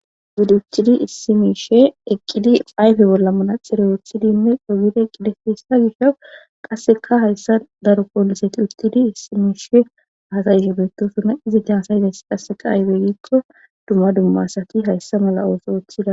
Uttidi issi miishe eqqidi ayfe bolla manaxire wottidi hessa oddide dees. gishaw qassekka qassekka hayssan daro poliseti uttidi issi miishe hasayishe beetosona izati haasa'izayssi aaze giiko dumma dumma asati hayssa mala ooso ootidakko